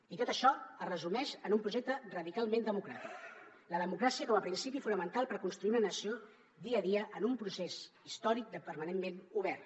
i tot això es resumeix en un projecte radicalment democràtic la democràcia com a principi fonamental per construir una nació dia a dia en un procés històric permanentment obert